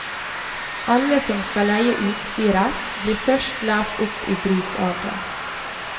Alle som skal leie utstyret blir først lært opp i bruk av det.